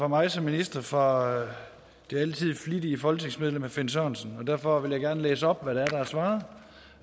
mig som minister fra det altid flittige folketingsmedlem herre finn sørensen og derfor vil jeg gerne læse op hvad der er svaret